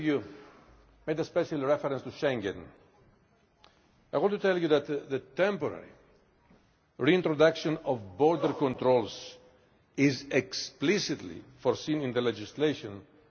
I want to tell you that the temporary reintroduction of border controls is explicitly foreseen in the legislation for exceptional situations and as a temporary